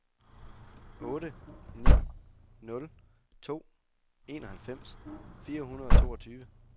otte ni nul to enoghalvfems fire hundrede og toogtyve